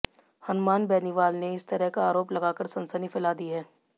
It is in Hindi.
हनुमान बेनीवाल ने इस तरह का आरोप लगाकर सनसनी फैला दी है